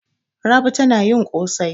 Rabi tana yin ƙosai.